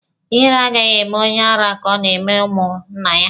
Ihere agaghị eme onye ara ka ọ ga-eme ụmụ nna ya.